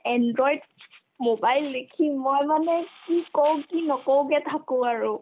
android mobile দেখি মই মানে কি ক'ম কি নক'মকে থাকো আৰু